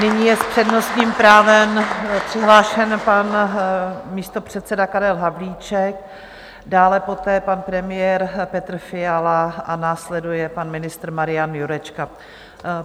Nyní je s přednostním právem přihlášen pan místopředseda Karel Havlíček, dále poté pan premiér Petr Fiala a následuje pan ministr Marian Jurečka.